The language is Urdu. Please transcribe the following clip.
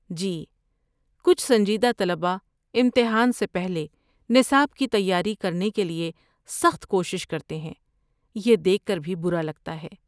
جی، کچھ سنجیدہ طلباء امتحان سے پہلے نصاب کی تیاری کر نے کے لیے سخت کوشش کرتے ہیں، یہ دیکھ کر بھی برا لگتا ہے۔